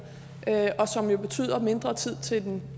og som jo betyder mindre tid til den